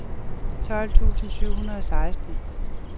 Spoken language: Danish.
tolv tusind syv hundrede og seksten